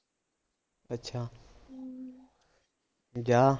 ਅੱਛਾ ਜਾਂ